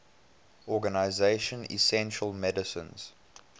organization essential medicines